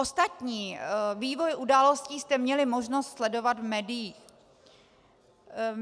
Ostatní vývoj událostí jste měli možnost sledovat v médiích.